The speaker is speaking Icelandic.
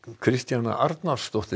Kristjana Arnarsdóttir